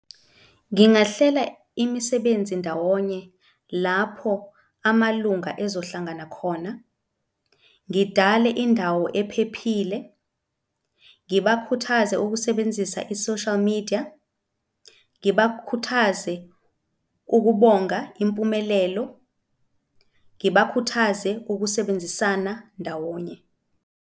Ngingahlela imisebenzi ndawonye lapho amalunga ezohlangana khona, ngidale indawo ephephile, ngibakhuthaze ukusebenzisa i-social media, ngibakhuthaze ukubonga impumelelo, ngibakhuthaze ukusebenzisana ndawonye.